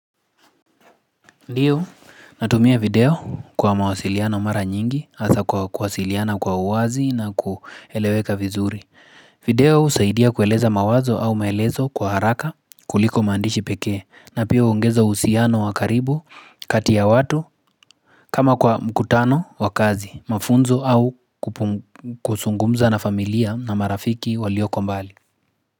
Ndiyo natumia video kwa mawasiliano mara nyingi hasa kwa kuwasiliana kwa uwazi na kueleweka vizuri video usaidia kueleza mawazo au maelezo kwa haraka kuliko mandishi pekee na pia huongeza uhusiano wakaribu katia ya watu kama kwa mkutano wakazi mafunzo au kusungumza na familia na marafiki walioko mbali.